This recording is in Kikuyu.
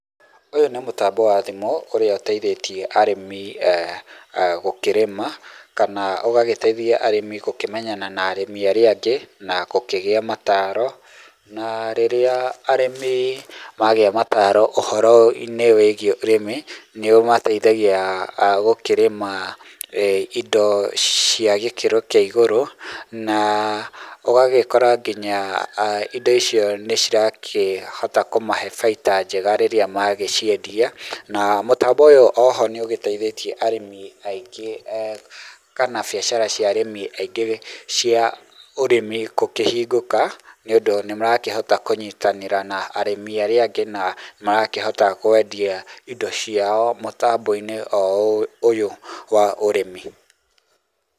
Ũyũ nĩ mũtambo wa thimũ ũrĩa ũteithĩtie arĩmi gũkĩrĩma kana ũgagĩteithia mũrĩmi gũkĩmenyana na arĩmi arĩa angĩ na gũkĩgĩa mataro na rĩrĩa arĩmi magĩa mataro ũhoro wĩgie ũrĩmi nĩũmateithagia gũkĩrĩma indo cia gĩkĩro kĩa igũrũ na ũgagĩkora nginya indo icio nĩcira kĩhota kũmahe baita njega rĩrĩa magĩciendia na mũtambo ũyũ oho nĩ ũgĩteithĩtie arĩmi aingĩ kana biacara cia arĩmi aingĩ cia ũrĩmi gũkĩhingũka nĩ ũndũ nĩ marakĩhota gũkinyitanĩra na arĩmi arĩa angĩ na magakĩhota kwendia indo ciao mũtambo-inĩ o ũyũ wa ũrĩmi.